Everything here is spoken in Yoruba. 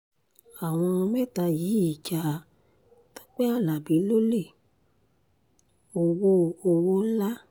àwọn mẹ́ta yìí ja tọ́pẹ́ alábí lólè ọwọ́ ọwọ́ ńlá